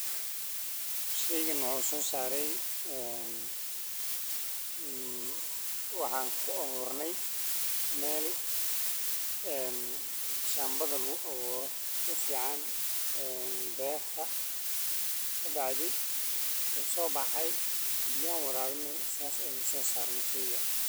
Galleyda beerta laga goosanayo waxay astaan u tahay in xilli dheer oo sugid ah kadib ay beeraleydu heleen mirihii ay shaqadooda ku beereen. Dadka deegaanka waxay si toos ah uga faa’iidaystaan shaqadan maadaama galleydu ay tahay mid ka mid ah cuntooyinka ugu muhiimsan ee la isticmaalo.